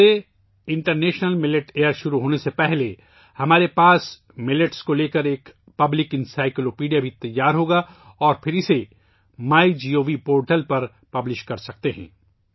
اس سے international millet year شروع ہونے سے پہلے ہمارے پاس ایک عوامی انسائیکلو پیڈیا بھی تیار ہو گی اور پھر اسے مائی گوو پورٹل پر پبلش کر سکتے ہیں